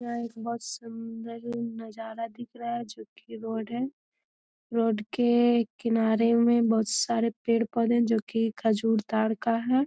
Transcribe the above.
यह एक बहुत सुंदर नजारा दिख रहा है जो की रोड है रोड के किनारे मे बहुत सारे पेड़ पौधे है जो की खजूर ताड़ का है।